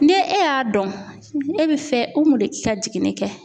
Ni e y'a dɔn e bɛ fɛ Umu de k'i ka jiginni kɛ